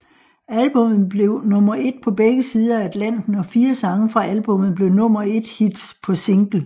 Albummet blev nummer et på begge sider af Atlanten og fire sange fra albummet blev nummer et hits på single